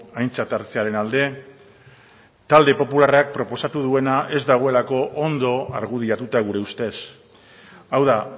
aintzat hartzearen alde talde popularrak proposatu duena ez dagoelako ondo argudiatuta gure ustez hau da